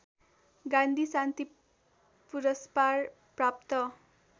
गान्धी शान्ति पुरस्पार प्राप्त